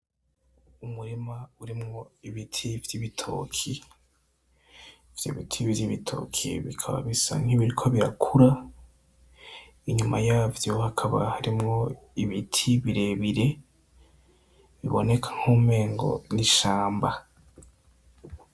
Umurima urimwo ibiti vy'ibitoki vyo ibiti bivyo ibitoki bikaba bisa nk'ibiriko birakura inyuma yavyo hakaba harimwo ibiti birebire biboneka nk'umengo n'ishamba.